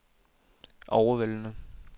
overvældende